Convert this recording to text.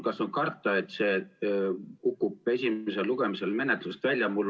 Kas on karta, et see kukub esimesel lugemisel menetlusest välja?